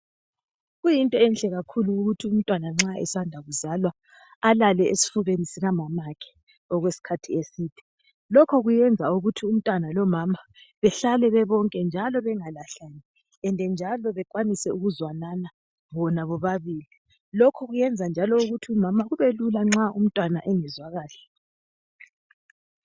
Kuyinto enhle kakhulu ukuthi umntwana nxa esanda kuzalwa alale esifubeni sikamamakhe okwesikhathi eside lokhu kwenza ukuthi umntwana lomama behlale bebonke njalo bengalahlani njalo bekwanise ukuzwanana bona bobabili lokhu kwenza njalo ukuthi umama kubelula nxa umntwana engezwa kahle.